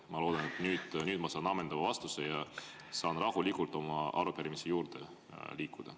Ma loodan, et nüüd ma saan ammendava vastuse ja saan rahulikult oma arupärimise juurde liikuda.